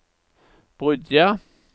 Bryggja